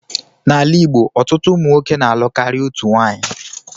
N'ala igbo, ọtụtụ ụmụnwoke na-alụ karịa otu nwanyị